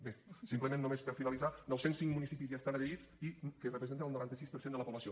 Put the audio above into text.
bé simplement només per finalitzar nou cents i cinc municipis ja hi estan adherits que representa el noranta sis per cent de la població